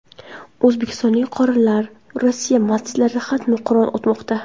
O‘zbekistonlik qorilar Rossiya masjidlarida xatmi Qur’on o‘tmoqda .